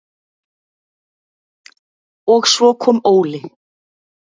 Og svo kom Óli.